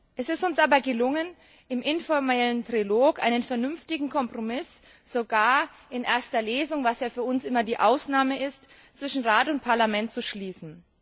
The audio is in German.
Es ist uns aber gelungen, im informellen Trilog einen vernünftigen Kompromiss sogar in erster Lesung was ja für uns immer die Ausnahme ist zwischen Rat und Parlament zu schließen.